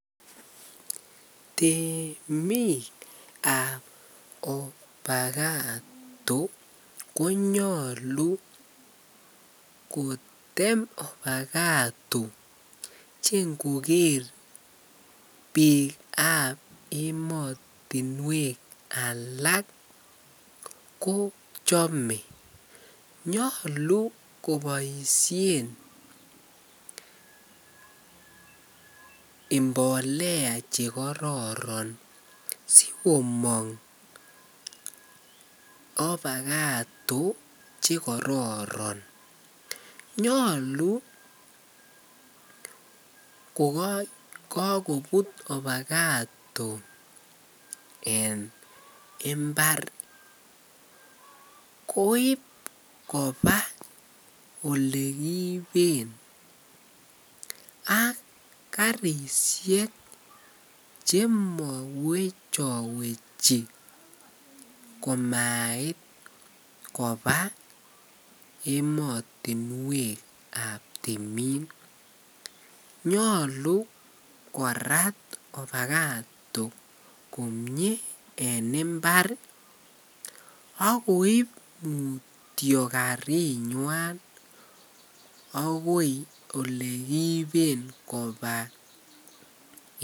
Temik ab avocado konyalu kotem avocado chengoger bik ab ematunwek alak kochame nyalu kobaishen imbolea chekororon sikomang avocado chekororon nyalu kokakobit avocado en imbar koib koba olekiiben ak karishek chemawechawechi komait Koba ematunwek ab temik nyalu koraa avocado konyi en imbar akoib mutyo karinywa akoi olekiiben Koba